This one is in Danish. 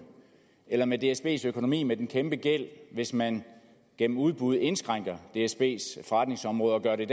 eller med dsbs økonomi med den kæmpegæld hvis man gennem udbud indskrænker dsbs forretningsområde og dermed